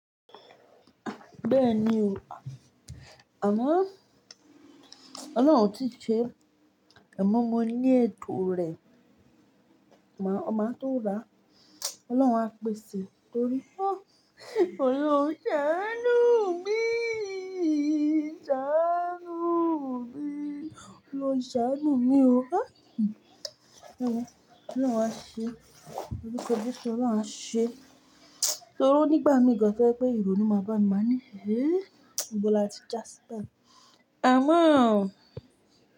Bẹ́ẹ̀ni o. Àmoo Ọlọ́run ò tí ì ṣe a mọ́ mọ ní ètò rẹ̀, màá ó máa tó ra. Ọlọ́run á pèsè torí ah Ọlọ́run ṣàánú míìì, ṣàánúù míì, Ọlọ́run ṣàánú mí o. Ọlọ́run á ṣe, lorùkọ́ jesu ọ́lorun á ṣe. Torí o nígbà mí gan to jẹ́ pé ìrònú máa bá mi má ní, ibo látun jásí bayi. Àmo.